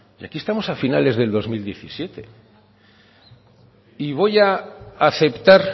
y aquí estamos a finales del dos mil diecisiete y voy a aceptar